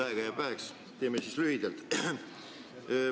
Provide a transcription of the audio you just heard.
Aega jääb väheks, nii et teeme lühidalt.